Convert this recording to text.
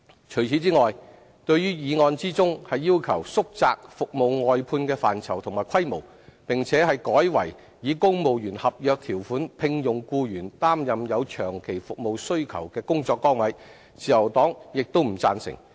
除此之外，對於議案中要求縮窄服務外判的範疇和規模，並改以公務員合約條款聘用僱員擔任有長期服務需求的工作崗位，自由黨亦不贊成。